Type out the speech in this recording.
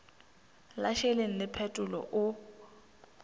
la šeleng le phetolo o